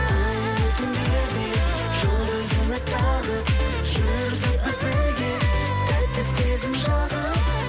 айлы түндерде жұлдыз үміт тағып жүрдік біз бірге тәтті сезім жағып